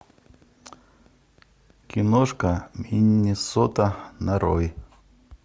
киношка миннесота нарой